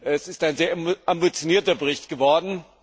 Es ist ein sehr ambitionierter Bericht geworden.